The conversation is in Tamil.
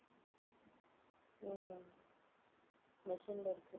உம் machine ல இருக்கு.